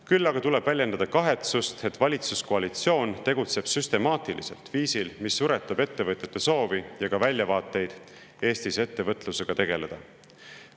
Küll aga tuleb väljendada kahetsust, et valitsuskoalitsioon tegutseb süstemaatiliselt viisil, mis suretab ettevõtjate soovi ja ka väljavaateid Eestis ettevõtlusega tegeleda.